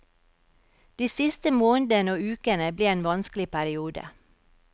De siste månedene og ukene ble en vanskelig periode.